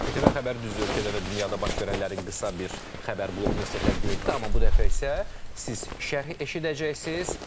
İTV xəbər düzdü ölkədə və dünyada baş verənlərin qısa bir xəbər blokunu sizə təqdim etdi, amma bu dəfə isə siz şərhi eşidəcəksiz.